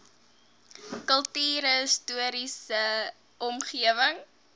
kultuurhis toriese omgewing